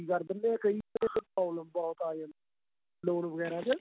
ਕਰ ਦਿੰਦੇ ਕਈ ਵੇਲੇ problem ਬਹੁਤ ਆਂ ਜਾਂਦੀ ਏ loan ਵਗੇਰਾ ਚ